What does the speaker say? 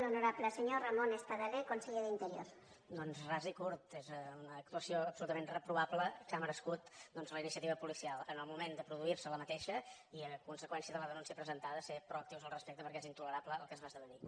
doncs ras i curt és una actuació absolutament reprovable que ha merescut doncs la iniciativa policial en el moment de produir se aquesta i a conseqüència de la denúncia presentada ser proactius al respecte perquè és intolerable el que es va esdevenir